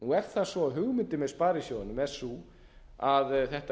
það svo að hugmyndin með sparisjóðunum er sú að þetta